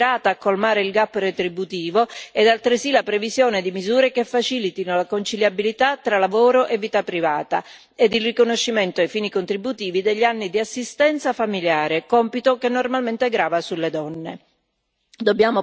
Occorre una strategia mirata a colmare il gap retributivo e altresì la previsione di misure che facilitino la conciliabilità tra lavoro e vita privata e il riconoscimento ai fini contributivi degli anni di assistenza familiare, compito che normalmente grava sulle donne.